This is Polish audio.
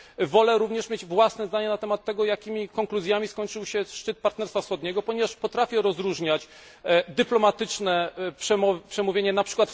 Wolę również mieć własne zdanie na temat tego, jakimi konkluzjami skończył się szczyt Partnerstwa Wschodniego, ponieważ potrafię rozróżniać dyplomatyczne przemówienie, np.